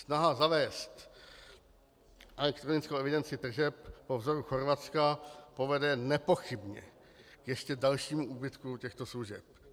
Snaha zavést elektronickou evidenci tržeb po vzoru Chorvatska povede nepochybně k ještě dalšímu úbytku těchto služeb.